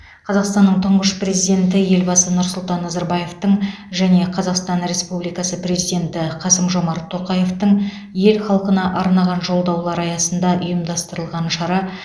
қазақстанның тұңғыш президенті елбасы нұрсұлтан назарбаевтың және қазақстан республикасы президенті қасым жомарт тоқаевтың ел халқына арнаған жолдаулары аясында ұйымдастырылған шара